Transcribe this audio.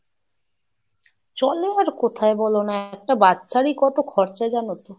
চলে আর কোথায় বলো না? একটা বাচ্চারই কত খরচা জানো তো?